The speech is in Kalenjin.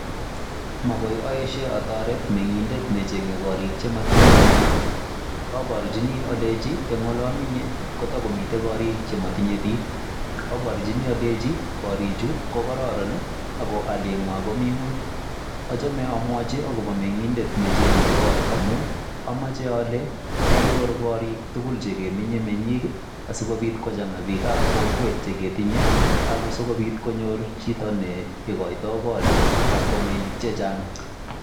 Makoi aeshe atoret meng'indet ne chenye korik che matinye meng'ik, aborjini aleji eng ole amenye ko tokomite korik che matinye biik, aborjini aleji koriju ko kororon aku alie ng'wany komi ng'uny. Achame amwochi akobo meng'indet ne cheng'e koot amu ameche ale tanyoru korik tugul che kiminye menyik asikobit kochang'a biikab kokwet che ketinye aku sikobit konyor chito ne koito korik kastomainik che chang'.